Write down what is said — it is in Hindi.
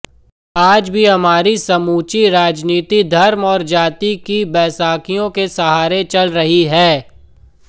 आज भी हमारी समूची राजनीति धर्म और जाति की बैसाखियों के सहारे चल रही है